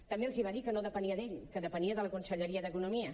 també els va dir que no depenia d’ell que depenia de la conselleria d’economia